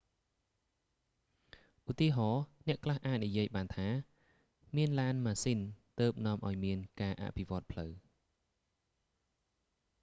ឧទាហរណ៍ អ្នកខ្លះអាចនិយាយបានថា មានឡានម៉ាស៊ីនទើបនាំឱ្យមានការអភិវឌ្ឍន៍ផ្លូវ